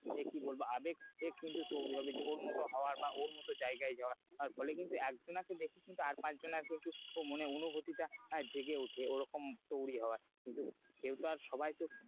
আহ কি বলবো আবেগ বা ওর মত জায়গায় যাওয়ার ফলে কিন্তু একজনাকে দেখে কিন্তু আর পাঁচ জনের কিন্তু মনে অনুভিতি টা জেগে উঠে ওরকম তৈরী হওয়ার কিন্তু যেহেতু আর সবাইকে,